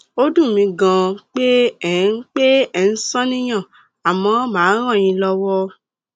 ó dùn mí ganan pé ẹ ń pé ẹ ń ṣàníyàn àmọ màá ràn yín lọwọ